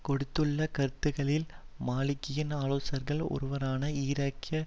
கொடுத்துள்ள கருத்துக்களில் மாலிகியின் ஆலோசகர்களில் ஒருவரான ஈராக்கிய